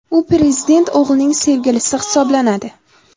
U prezident o‘g‘lining sevgilisi hisoblanadi.